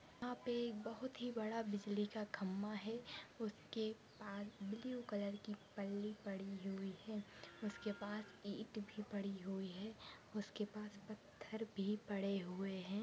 यहाँ पे बहुत ही बड़ा बिजली का खंबा है उसके पास ब्लू कलर की पल्ली पड़ी हुई है। उसके पास इट भी पड़ी हुई है उसके पास पत्थर भी पड़े हुए है।